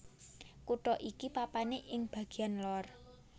Kutha iki papané ing bagéyan lor